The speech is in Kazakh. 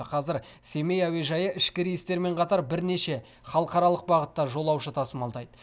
қазір семей әуежайы ішкі рейстермен қатар бірнеше халықаралық бағытта жолаушы тасымалдайды